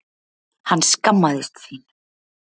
Hann skammaðist sín.